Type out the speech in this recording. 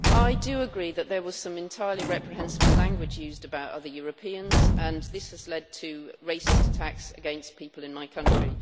I do agree that there was some entirely reprehensible language used about other Europeans and this has led to racist attacks against people in my country.